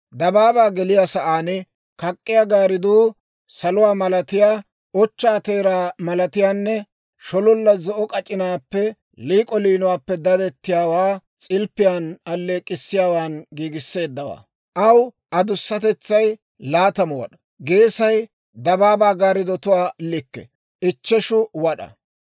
Dabaabaa geliyaa sa'aan kak'k'iyaa gaariduu saluwaa malatiyaa ochchaa teeraa malatiyaanne shololla zo'o k'ac'inaappenne liik'o liinuwaappe daddiyaawaa s'ilppiyaan alleek'k'issiyaawan giigisseeddawaa. Aw adussatetsay laatamu wad'aa; geesay dabaabaa gaariddotuwaa likke, ichcheshu wad'aa.